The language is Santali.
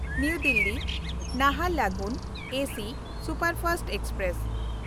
ᱱᱟᱣᱟ ᱫᱤᱞᱞᱤ–ᱱᱟᱦᱟᱨᱞᱟᱜᱩᱱ ᱮᱥᱤ ᱥᱩᱯᱟᱨᱯᱷᱟᱥᱴ ᱮᱠᱥᱯᱨᱮᱥ